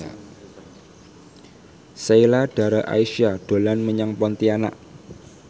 Sheila Dara Aisha dolan menyang Pontianak